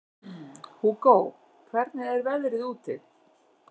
Hugó, hvernig er veðrið úti?